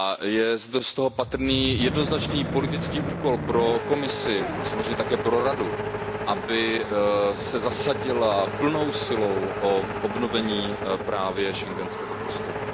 Je z toho patrný jednoznačný politický úkol pro Komisi a samozřejmě také pro Radu, aby se zasadily plnou silou o obnovení právě schengenského prostoru.